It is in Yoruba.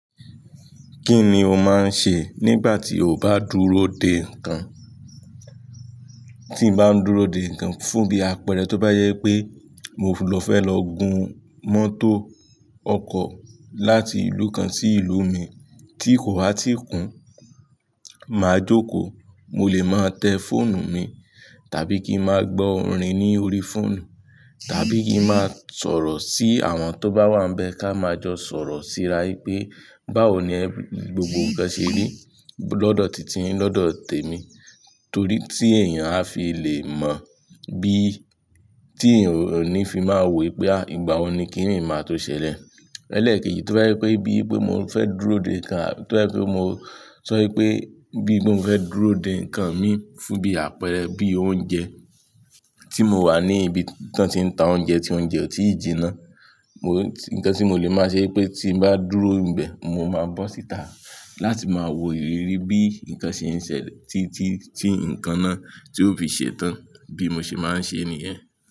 Kí ni o máa ń ṣe nígbà tí o bá dúró dè nǹkan? Tí mo bá ń dúró dè nǹkan fún bí àpẹẹrẹ tó bá yẹ pé mo fẹ́ lọ gun mọ́tò ọkọ̀ láti ìlú kan sí ìlú mi tí kò bá tí i kún, màá jókòó, mo lè máa tẹ fóònù mi, tàbí kí máa gbọ́ orin ní orí fóònù, tàbí kí n máa sọ̀rọ̀ sí àwọn tó bá wà níbẹ̀ kí a máa jọ sọ̀rọ̀ síra wípé báwo ni ẹ gbogbo ń ṣe rí lọ́dọ̀ tìtìyin lọ́dọ̀ tèmi. Torí tí èèyàn a fi le mọ bí tí èèyàn ò ní fi máa wí pé ìgbà wo ni kí nìí máa tó ṣẹlẹ̀. Elẹ́ẹ̀kejì tó bá jẹ pé bí mo fẹ́ dúró dè nǹkan, tó bá jẹ pé mo sọ wípé bí mo fẹ́ dúró dè nǹkan mi fún bí àpẹẹrẹ bí oúnjẹ tí mo wà ní ibi tí wọ́n ti ń ta oúnjẹ tí oúnjẹ ò tíì jinná. Ǹnkan tí mo lè máa ṣe pé tí bá dúró níbẹ̀, mo máa bọ́ síta láti máa wo ìrírí bí nnkan ṣe ń ṣẹlẹ̀ tí, tí, tí nnkan náà tó fi ṣe tán bí mo ṣe máa ń ṣe nìyẹn.